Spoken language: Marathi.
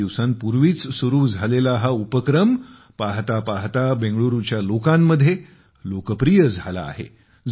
काही दिवसांपूर्वीच सुरु झालेला हा उपक्रम पाहता पाहता बेंगळुरूच्या लोकांमध्ये लोकप्रिय झाला आहे